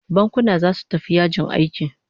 Bankuna zasu tafi yajin aiki